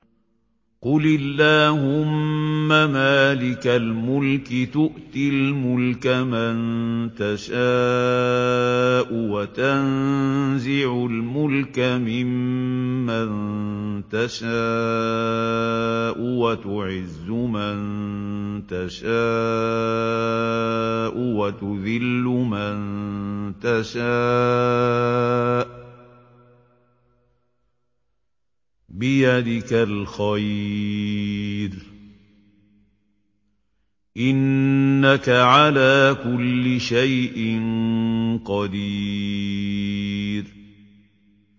قُلِ اللَّهُمَّ مَالِكَ الْمُلْكِ تُؤْتِي الْمُلْكَ مَن تَشَاءُ وَتَنزِعُ الْمُلْكَ مِمَّن تَشَاءُ وَتُعِزُّ مَن تَشَاءُ وَتُذِلُّ مَن تَشَاءُ ۖ بِيَدِكَ الْخَيْرُ ۖ إِنَّكَ عَلَىٰ كُلِّ شَيْءٍ قَدِيرٌ